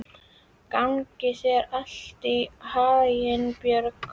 Gangi þér allt í haginn, Björg.